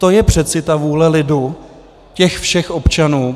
To je přece ta vůle lidu, těch všech občanů.